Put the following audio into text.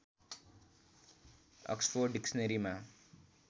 Oxford डिक्सनरीमा